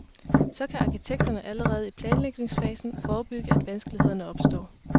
Så kan arkitekterne allerede i planlægningsfasen forebygge, at vanskelighederne opstår.